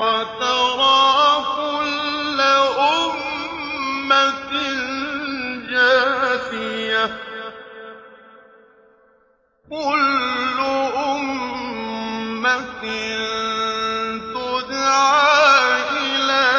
وَتَرَىٰ كُلَّ أُمَّةٍ جَاثِيَةً ۚ كُلُّ أُمَّةٍ تُدْعَىٰ إِلَىٰ